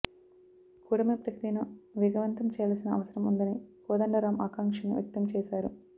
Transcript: కూటమి ప్రక్రియను వేగవంతం చేయాల్సిన అవసరం ఉందని కోదండరామ్ ఆకాంక్షను వ్యక్తం చేశారు